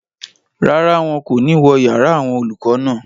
Rárá, wọn kò ní wó yàrá àwọn olùkọ́ náà